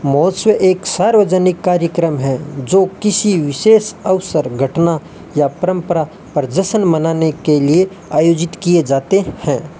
एक सार्वजनिक कार्यक्रम है जो किसी विशेष अवसर घटना या परंपरा पर जश्न मनाने के लिए आयोजित किए जाते हैं।